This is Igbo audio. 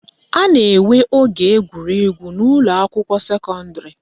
A na-enwe oge egwuregwu n'ụlọakwụkwọ sekọndịrị